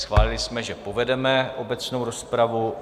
Schválili jsme, že povedeme obecnou rozpravu.